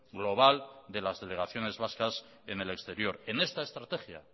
global de las delegaciones vascas en el exterior en esta estrategia